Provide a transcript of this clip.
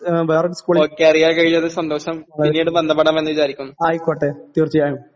ആ വേറൊരു സ്കൂളിൽ ആ ആയിക്കോട്ടെ തീർച്ചയായും